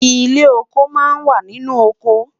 ilé ọkọ má n wà nínú ọkọ